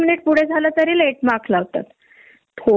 कुठ कुठ लक्ष द्यायच मग आपण आपल लिमिटेशन आहे की नाही.